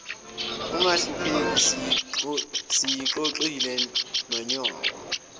ungahlupheki siyixoxile nonyoko